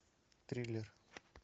триллер